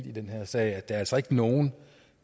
i den her sag at der altså ikke nogen